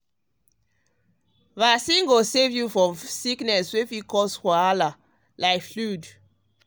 vaccine go save you go save you from sickness wey fit turn wahala like flu.